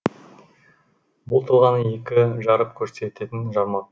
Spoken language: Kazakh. бір тұлғаны екі жарып көрсететін жармақ